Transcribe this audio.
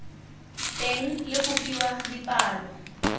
teng le go fiwa dipalo